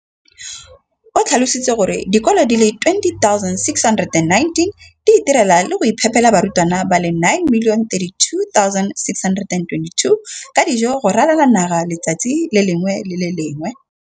O tlhalositse gore dikolo di le 20 619 di itirela le go iphepela barutwana ba le 9 032 622 ka dijo go ralala naga letsatsi le lengwe le le lengwe.